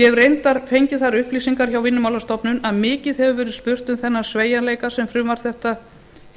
ég hef reyndar fengið þær upplýsingar hjá vinnumálastofnun að mikið hefur verið spurt um þennan sveigjanleika sem frumvarp þetta